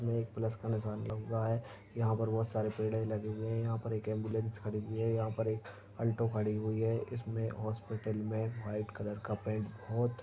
एक प्लस का निशान लगा हुआ है यहाँ पर बोहोत सारे पेड़ लगे हुए है एक एम्बुलेंस खड़ी हुई है यहाँ पर एक अल्टो खड़ी हुई है इसमें हॉस्पिटल में व्हाइट कलर का पेंट बोहोत --